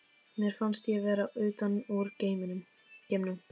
Mér fannst ég vera utan úr geimnum.